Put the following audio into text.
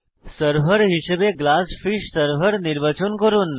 server হিসাবে GlassFish server নির্বাচন করুন